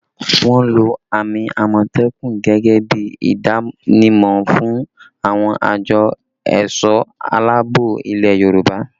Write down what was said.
Wọ́n lo àmì àmọ̀tẹ́kùn gẹ́gẹ́ bí ìdánimọ̀ fún àwọn àjọ ẹ̀sọ̀ aláàbò ilẹ̀ Yorùbá